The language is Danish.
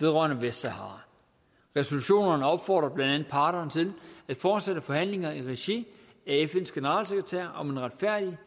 vedrørende vestsahara resolutionerne opfordrer blandt andet parterne til at fortsætte forhandlinger i regi af fns generalsekretær om en retfærdig